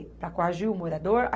Para coagir o morador?